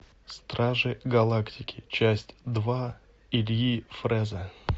стражи галактики часть два ильи фреза